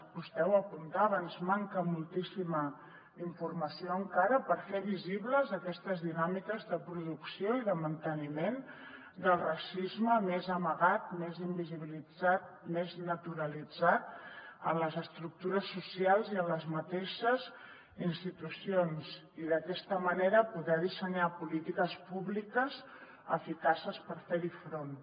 vostè ho apuntava ens manca moltíssima informació encara per fer visibles aquestes dinàmiques de producció i de manteniment del racisme més amagat més invisibilitzat més naturalitzat en les estructures socials i en les mateixes institucions i d’aquesta manera poder dissenyar polítiques públiques eficaces per fer hi front